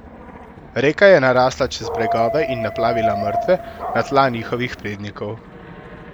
Reka je narasla čez bregove in naplavila mrtve na tla njihovih prednikov.